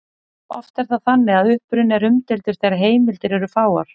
Oft er það þannig að uppruni er umdeildur þegar heimildir eru fáar.